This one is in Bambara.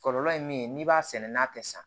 Kɔlɔlɔ ye min ye n'i b'a sɛnɛ n'a tɛ san